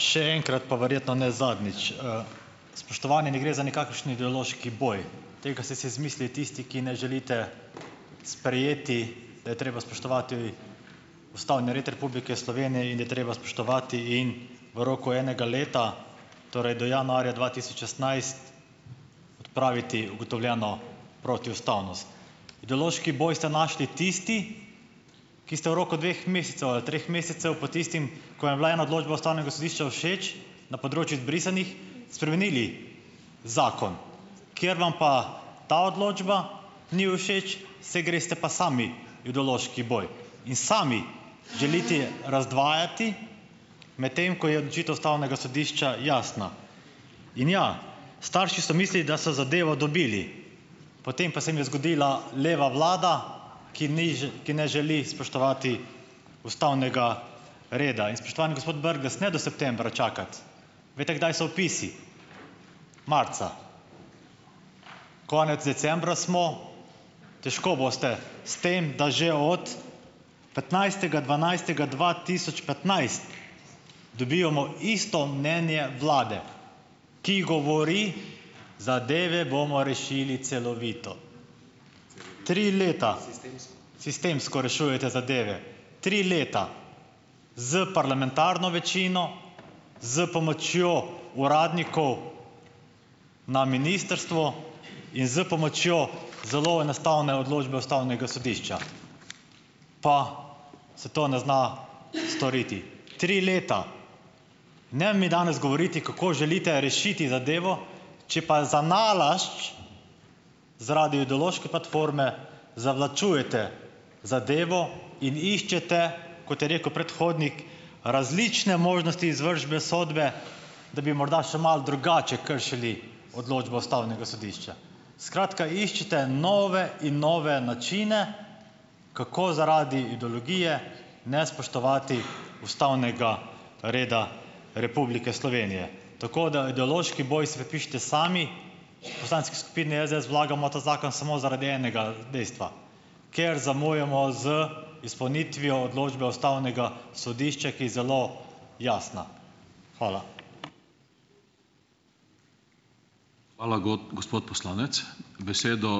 Še enkrat, pa verjetno ne zadnjič, Spoštovani, ne gre za nikakršni ideološki boj. Tega se si zamislili tisti, ki ne želite sprejeti, da je treba spoštovati ustavni red Republike Slovenije in da je treba spoštovati in v roku enega leta, torej do januarja dva tisoč šestnajst, odpraviti ugotovljeno protiustavnost. Ideološki boj ste našli tisti, ki ste v roku dveh mesecev ali treh mesecev po tistem, ko je bila ena odločba ustavnega sodišča všeč, na področju izbrisanih, spremenili zakon, ker vam pa ta odločba ni všeč, se greste pa sami idološki boj in sami želitie razdvajati, medtem ko je odločitev ustavnega sodišča jasna, in ja, starši so mislili, da so zadevo dobili, potem pa se jim je zgodila leva vlada, ki ni že, ki ne želi spoštovati ustavnega reda. In spoštovani gospod Brglez, ne do septembra čakati. Veste, kdaj so vpisi? Marca. Konec decembra smo, težko boste, s tem da že od petnajstega dvanajstega dva tisoč petnajst, dobivamo isto mnenje vlade, ki govori, "zadeve bomo rešili celovito". Tri leta. Sistemsko rešujete zadeve. Tri leta. S parlamentarno večino, s pomočjo uradnikov na ministrstvu in s pomočjo zelo enostavne odločbe ustavnega sodišča, pa se to ne zna storiti. Tri leta. Ne mi danes govoriti, kako želite rešiti zadevo, če pa zanalašč zaradi idološke platforme zavlačujete zadevo in iščete, kot je rekel predhodnik, različne možnosti izvršbe sodbe, da bi morda še malo drugače kršili odločbo ustavnega sodišča. Skratka, iščete nove in nove načine, kako zaradi idlogije ne spoštovati ustavnega reda Republike Slovenije. Tako da ideloški boj si pripište sami, v poslanski skupini SDS vlagamo ta zakon samo zaradi enega, dejstva, ker zamujamo z izpolnitvijo odločbe ustavnega sodišča, ki je zelo jasna. Hvala.